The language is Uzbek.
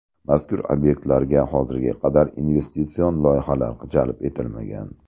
Mazkur obyektlarga hozirga qadar investitsion loyihalar jalb etilmagan.